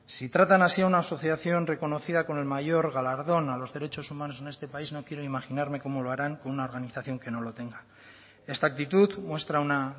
si tratan así a una asociación reconocida con el mayor galardón a los derechos humanos en este país no quiero imaginarme cómo lo harán con una organización que no lo tenga esta actitud muestra una